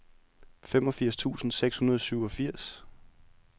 femogfirs tusind seks hundrede og syvogfirs